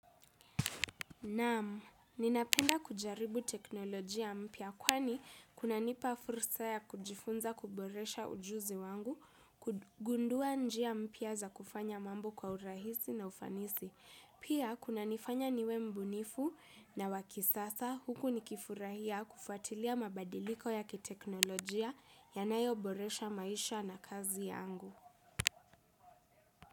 Naam, ninapenda kujaribu teknolojia mpya kwani kunanipa fursa ya kujifunza kuboresha ujuzi wangu, kugundua njia mpya za kufanya mambo kwa urahisi na ufanisi. Pia kunanifanya niwe mbunifu na wa kisasa huku nikifurahia kufatilia mabadiliko ya kiteknolojia yanayoboresha maisha na kazi yangu.